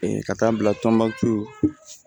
ka taa n bila tɔnbɔkutu